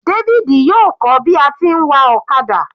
David yóò kọ́ bi a ti ń wa ọ̀kadà.